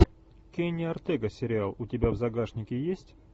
кенни ортега сериал у тебя в загашнике есть